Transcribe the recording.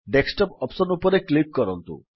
desktop option ଉପରେ click କରନ୍ତୁ